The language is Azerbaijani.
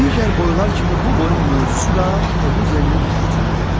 Digər boylar kimi bu boyun mövzusu da Oğuz elinin həyatından alınıb.